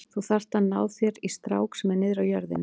Þú þarft að ná þér í strák sem er niðri á jörðinni.